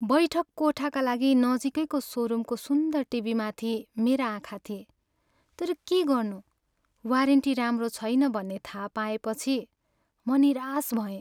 बैठक कोठाका लागि नजिकैको सोरुमको सुन्दर टिभीमाथि मेरा आँखा थिेए तर के गर्नु वारेन्टी राम्रो छैन भन्ने थाहा पाएपछि म निराश भएँ।